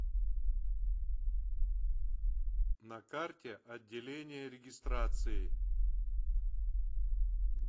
на карте отделение регистрации